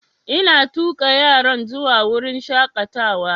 Ina tuƙa yaran zuwa wurin shaƙatawa